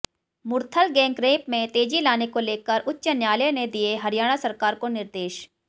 Murthal gang rape में तेजी लाने को लेकर उच्च न्यायालय ने दिए हरियाणा सरकार को निर्देश